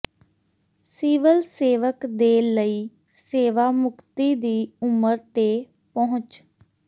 civil ਸੇਵਕ ਦੇ ਲਈ ਸੇਵਾ ਮੁਕਤੀ ਦੀ ਉਮਰ ਤੇ ਪਹੁੰਚ